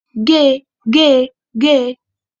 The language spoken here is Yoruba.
Gé! Gé! Gé!